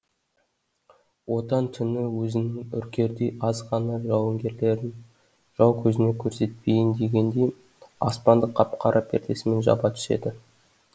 отан түні өзінің үркердей аз ғана жауынгерлерін жау көзіне көрсетпейін дегендей аспанды қап қара пердесімен жаба түседі